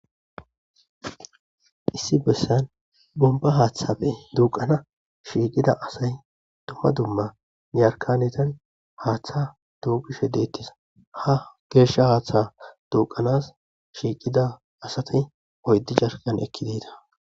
Issi bessan bonba haatha duqanan shiqida Asati asay duma duma Yarkaneti Hatha duqishe de'etes Ha gesha Hatha duqanas shiqida Asati oydu yarkana ekkidi yida.